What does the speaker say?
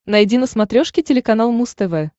найди на смотрешке телеканал муз тв